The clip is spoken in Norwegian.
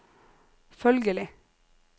følgelig